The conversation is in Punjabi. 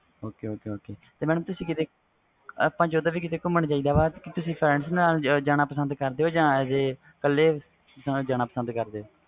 ਇਕ ਵਾਰ solar system ਦਾ ਨਹੀਂ ਪਤਾ